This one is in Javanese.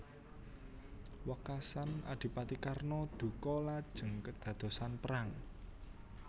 Wekasan Adipati Karna duka lajeng kedadosan perang